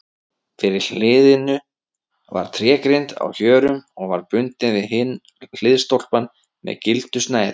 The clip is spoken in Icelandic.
Fyrir hliðinu var trégrind á hjörum og var bundin við hinn hliðstólpann með gildu snæri.